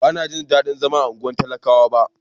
Ban na ji dadin zama a unguwan talakawa ba.